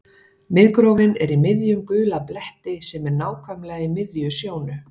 Miðgrófin er í miðjum gula bletti sem er nákvæmlega í miðri sjónu.